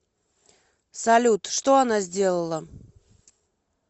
салют что она сделала